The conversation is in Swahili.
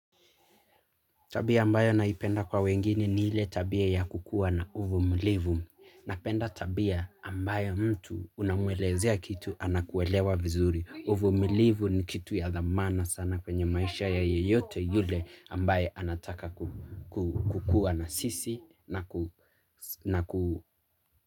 Tabia ambayo naipenda kwa wengine ni ile tabia ya kukua na uvumilivu. Napenda tabia ambayo mtu unamwelezea kitu anakuelewa vizuri. Uvumilivu ni kitu ya dhamana sana kwenye maisha ya yeyote yule ambaye anataka kukua na sisi na ku.